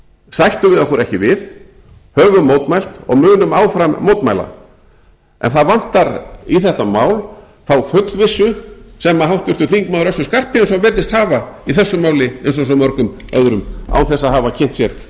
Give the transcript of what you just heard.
sættum við okkur ekki við höfum mótmælt og munum áfram mótmæla en það vantar í þetta mál þá fullvissu sem háttvirtur þingmaður össur skarphéðinsson virðist hafa í þessu máli eins og svo mörgum öðrum án þess að hafa kynnt sér